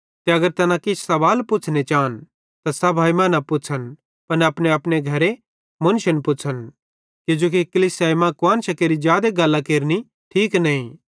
ते अगर तैना किछ सवाल पुच़्छ़ने चान त सभाई मां न पुच़्छ़न पन घरे अपनेअपने मुन्शन पुच़्छ़न किजोकि कलीसिया मां कुआन्शां केरि जादे गल्लां केरनि ठीक नईं